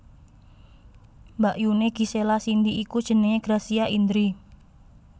Mbakyuné Gisela Cindy iku jenengé Gracia Indri